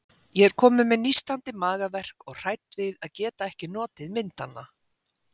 Ég er komin með nístandi magaverk og hrædd við að geta ekki notið myndanna.